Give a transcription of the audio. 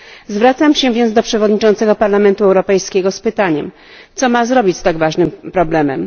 Zwracam się więc do przewodniczącego Parlamentu Europejskiego z pytaniem co ma zrobić z tak ważnym problemem?